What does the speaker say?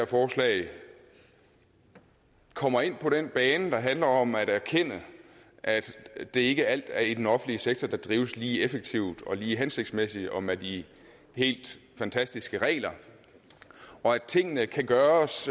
forslaget kommer ind på den bane der handler om at erkende at det ikke er alt i den offentlige sektor der drives lige effektivt og lige hensigtsmæssigt og med de helt fantastiske regler og at tingene kan gøres